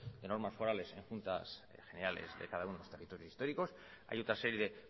de normas forales en juntas generales de cada uno de los territorios históricos hay otra serie de